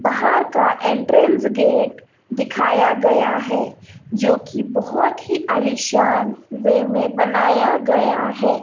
बहार का entrance gate दिखाया गया है जो की बहोत ही आलीशान वे में बनाया गया है।